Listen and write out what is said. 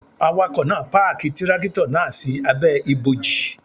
Awakọ̀ náà páàkì Tírákìtọ̀ náà sí abẹ́ ibòji.